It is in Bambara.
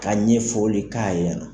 Ka ɲɛ foli k'a ɲɛna.